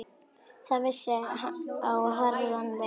Það vissi á harðan vetur.